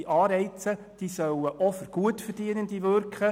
Die Anreize sollen auch auf Gutverdienende wirken.